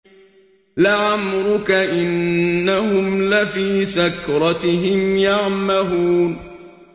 لَعَمْرُكَ إِنَّهُمْ لَفِي سَكْرَتِهِمْ يَعْمَهُونَ